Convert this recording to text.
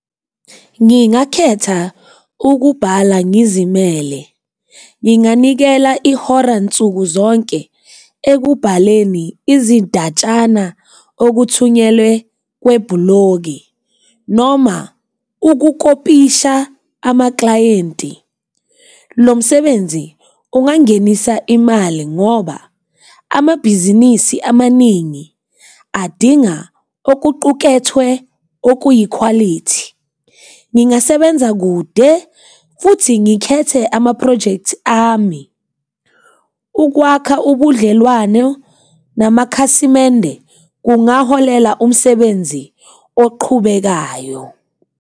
Ngingakhetha ukubhala ngizimele, nginganikela ihora nsukuzonke ekubhaleni izindatshana okuthunyelwe kwebhloki noma ukukopisha amaklayenti. Lo msebenzi ungangenisa imali ngoba amabhizinisi amaningi adinga okuqukethwe okuyikhwalithi. Ngingasebenza kude futhi ngikhethe amaphrojekthi ami. Ukwakha ubudlelwane namakhasimende kungaholela umsebenzi oqhubekayo.